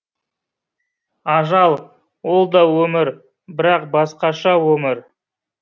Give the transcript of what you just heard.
ажал олда өмір бірақ басқаша өмір